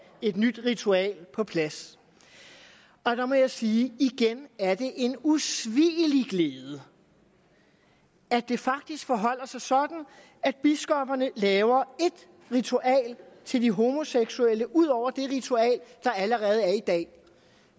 et nyt ritual på plads og der må jeg sige at igen er det en usvigelig glæde at det faktisk forholder sig sådan at biskopperne laver et ritual til de homoseksuelle ud over det ritual der allerede er i dag